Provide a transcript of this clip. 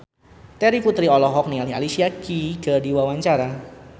Terry Putri olohok ningali Alicia Keys keur diwawancara